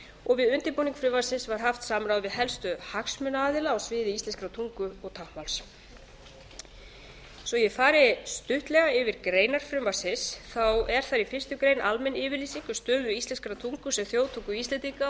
og við undirbúning frumvarpsins var haft samráð við helstu hagsmunaaðila á sviði íslenskrar tungu og táknmáls svo ég fari stuttlega yfir greinar frumvarpsins er í fyrstu grein almenn yfirlýsing um stöðu íslenskrar tungu sem þjóðtungu íslendinga